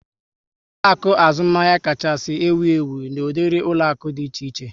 Ụlọaku azụmahịa kacha ewu ewu n'udiri ụlọaku di na Naijiria